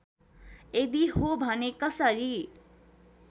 यदि हो भने कसरी